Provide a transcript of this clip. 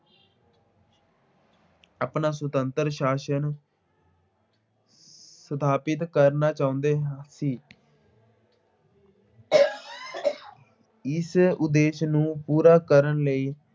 ਆਪਣਾ ਸੁਤੰਤਰ ਸ਼ਾਸਨ ਸਥਾਪਿਤ ਕਰਨਾ ਚਾਹੁੰਦੇ ਹ ਅਹ ਸੀ। ਇਸ ਉਦੇਸ਼ ਨੂੰ ਪੂਰਾ ਕਰਨ ਲਈ